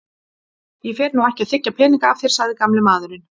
Ég fer nú ekki að þiggja peninga af þér sagði gamli maðurinn.